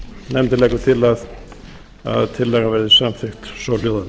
nefndin leggur til að tillagan verði samþykkt svohljóðandi